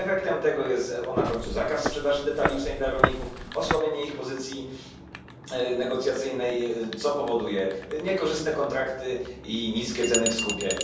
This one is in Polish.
Efektem tego jest na końcu zakaz sprzedaży detalicznej dla rolników, osłabienie ich pozycji negocjacyjnej, co powoduje niekorzystne kontrakty i niskie ceny w skupie.